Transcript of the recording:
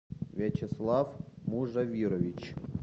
вячеслав мужавирович